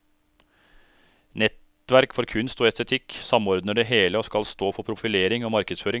Nettverk for kunst og estetikk samordner det hele og skal stå for profilering og markedsføring.